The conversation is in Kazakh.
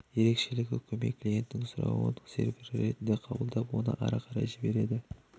ерекшелігі көмей клиенттің сұрауын сервер ретінде қабылдап оны ары қарай жібереді